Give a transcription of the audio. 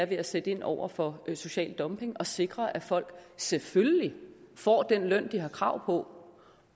ved at sætte ind over for social dumping og sikre at folk selvfølgelig får den løn de har krav på